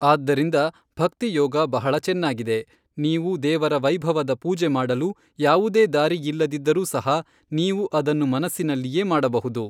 ಆದ್ದರಿಂದ ಭಕ್ತಿ ಯೋಗ ಬಹಳ ಚೆನ್ನಾಗಿದೆ ನೀವು ದೇವರ ವೈಭವದ ಪೂಜೆ ಮಾಡಲು ಯಾವುದೇ ದಾರಿಯಿಲ್ಲದಿದ್ದರು ಸಹ ನೀವು ಅದನ್ನು ಮನಸ್ಸಿನಲ್ಲಿಯೆ ಮಾಡಬಹುದು.